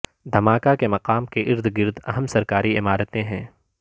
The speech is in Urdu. دھماکہ کے مقام کے ارد گرد اہم سرکاری عمارتیں ہیں